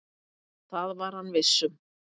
Það var hann viss um.